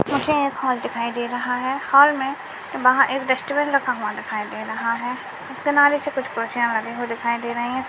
मुझे एक हॉल दिखाई दे रहा है हॉल मै वहा एक डस्टबिन रखा दिखाई दे रहा है किनारे से कुछ खुरसिया लगी हुई दिखाई दे रही है।